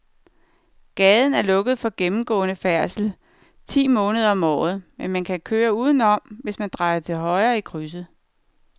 Gaden er lukket for gennemgående færdsel ti måneder om året, men man kan køre udenom, hvis man drejer til højre i krydset.